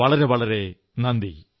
വളരെ വളരെ നന്ദി